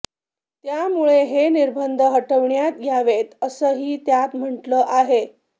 त्यामुळे हे निर्बंध हटविण्यात यावेत असंही त्यात म्हटलं आहे